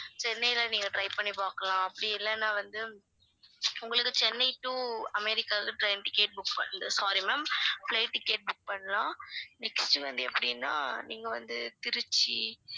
சென்னைல நீங்க try பண்ணி பார்க்கலாம் அப்படி இல்லேன்னா வந்து உங்களுக்கு சென்னை to அமெரிக்காவுக்கு train ticket book பண்ற~ sorry ma'am flight ticket book பண்ணலாம் next வந்து எப்படினா நீங்க வந்து திருச்சி